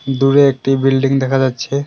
দূরে একটি বিল্ডিং দেখা যাচ্ছে।